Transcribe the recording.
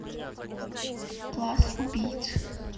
класс убийц